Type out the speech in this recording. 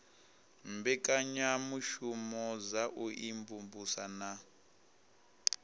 mbekanyamushumo dza u imvumvusa na